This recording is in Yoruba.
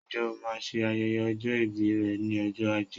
Ǹjẹ́ o máa ṣe ayẹyẹ ọjọ́ ìbí rẹ ní ọjọ́ ajé